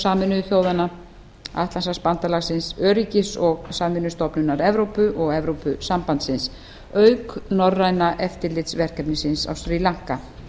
sameinuðu þjóðanna atlantshafsbandalagsins öryggis og samvinnustofnunar evrópu og evrópusambandsins auk norræna eftirlitsverkefnisins á sri lanka